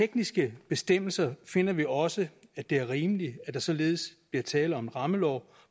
tekniske bestemmelser finder vi også det er rimeligt at der således bliver tale om en rammelov